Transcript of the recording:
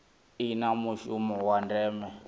i na mushumo wa ndeme